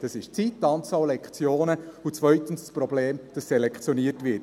Das ist die Zeit, die Anzahl Lektionen, und zweitens das Problem, dass selektioniert wird.